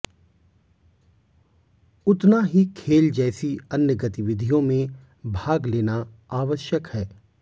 उतना ही खेल जैसी अन्य गतिविधियों में भाग लेना आवश्यक है